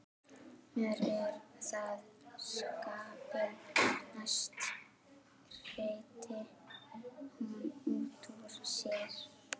Mér er það skapi næst, hreytti hún útúr sér.